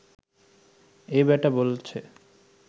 এই বেটা বলছে